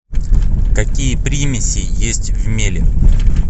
какие примеси есть в меле